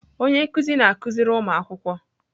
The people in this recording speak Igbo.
Onye nkụzi na-akụziri ụmụ akwụkwọ.